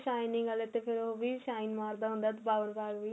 shining ਆਲੇ ਤੇ ਫ਼ਿਰ ਉਹ ਵੀ shine ਮਾਰਦਾ ਬਾਰ ਬਾਰ